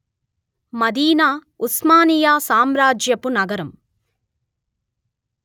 మదీనా ఉస్మానియా సామ్రాజ్యపు నగరం